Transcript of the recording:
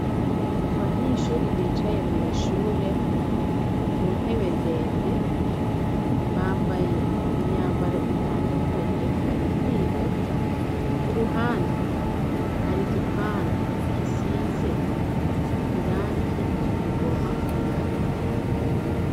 abanyeshuri bicaye mw' ishure kuntebe ndende bambaye imyambaro itandukanye bari kwiga ku ruhande hari gipande gisize irangi rigomba kwirabura